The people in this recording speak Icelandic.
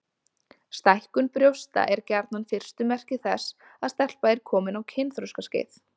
Stækkun brjósta er gjarnan fyrstu merki þess að stelpa er komin á kynþroskaskeið.